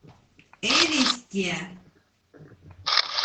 элисте